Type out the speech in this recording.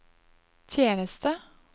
tjeneste